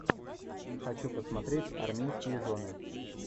хочу посмотреть армейские жены